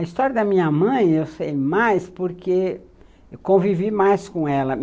A história da minha mãe eu sei mais porque eu convivi mais com ela.